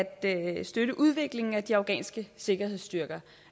at at støtte udviklingen af de afghanske sikkerhedsstyrker